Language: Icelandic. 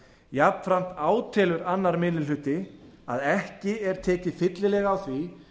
jafnframt átelur annar minni hluti að ekki er tekið fyllilega á því